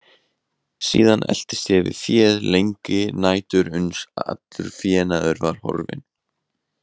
Síðan eltist ég við féð lengi nætur uns allur fénaður var horfinn.